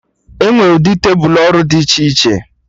Enwee ụdị tebụl ọrụ dị iche iche